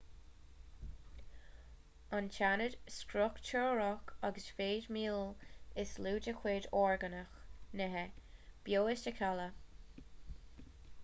an t-aonad struchtúrach agus feidhmiúil is lú de chuid orgánach nithe beo is ea cealla